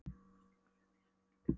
Hún stingur upp í sig tyggjóplötu.